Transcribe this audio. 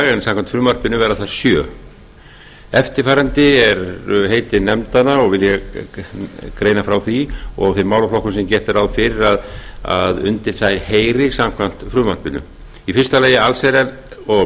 en samkvæmt frumvarpinu verða þær sjö eftirfarandi eru heiti nefndanna og málaflokkar sem gert er ráð fyrir að undir þær heyri samkvæmt frumvarpinu fyrstu allsherjar og